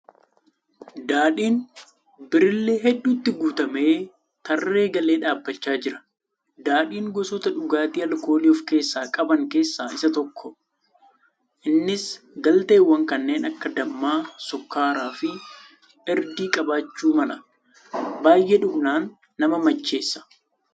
Daadhiin birillee hedduutti guutamee tarree galee dhaabbachaa jira. Daadhiin gosoota dhugaatii alkoolii of keessaa qaban keessaa isa tokko. Innis galteewwan kanneen akka damma, sukkaara fi Irdii qabaachuu mala. Baay'ee dhugnaan nama macheessa.